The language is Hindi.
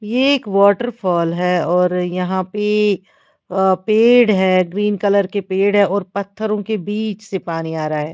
ये एक वॉटरफॉल है और यहां पे अह पेड़ है ग्रीन कलर के पेड़ है और पत्थरों के बीच से पानी आ रहा है।